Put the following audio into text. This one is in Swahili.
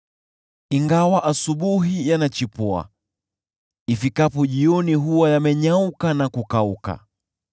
ingawa asubuhi yanachipua, ifikapo jioni huwa yamenyauka na kukauka.